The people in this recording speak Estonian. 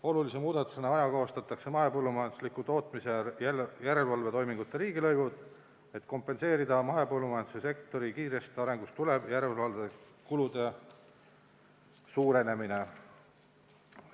Olulise muudatusega ajakohastatakse mahepõllumajandusliku tootmise järelevalvetoimingute riigilõivud, et kompenseerida mahepõllumajanduse sektori kiirest arengust tulenevat järelevalvekulude suurenemist.